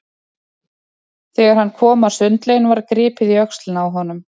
Þegar hann kom að sundlauginni var gripið í öxlina á honum.